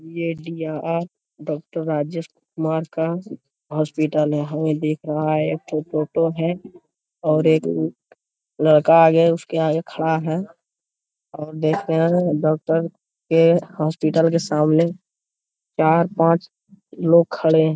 Doctor Rajesh Kumar का hospital है हमें दिख रहा है एकठो फोटो है और एक लड़का आगे उसके आगे खड़ा है और देखते है डॉक्टर के हॉस्पिटल के सामने चार पांच लोग खड़े हैं।